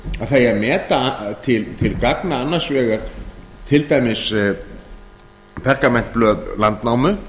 eigi að meta til gagna annars vegar til dæmis pergamentblöð landnámu